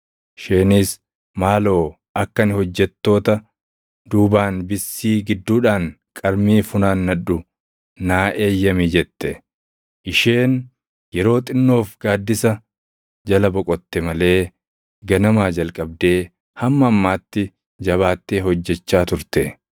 Isheenis, ‘Maaloo akka ani hojjettoota duubaan bissii gidduudhaan qarmii funaannadhu naa eeyyami’ jette. Isheen yeroo xinnoof gaaddisa jala boqotte malee ganamaa jalqabdee hamma ammaatti jabaattee hojjechaa turte.”